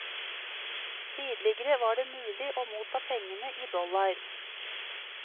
Tidligere var det mulig å motta pengene i dollar.